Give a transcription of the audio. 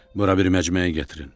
Bura bir məcməyi gətirin.